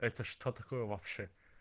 это что такое вообще